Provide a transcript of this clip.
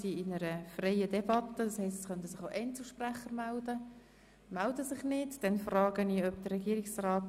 Wir führen eine freie Debatte, das bedeutet, es könnten sich noch Einzelsprecher melden.